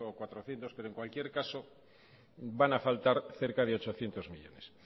cuatrocientos pero en cualquier caso van a faltar cerca de ochocientos millónes